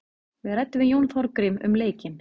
Við ræddum við Jón Þorgrím um leikinn.